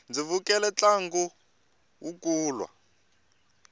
ndzi vukele ntlangu wa kulwa